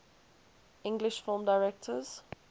english film directors